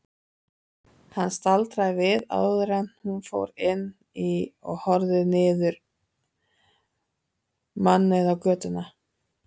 Hún staldraði við áður en hún fór inn og horfði niður mannauða götuna.